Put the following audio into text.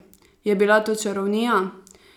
Je bila to čarovnija?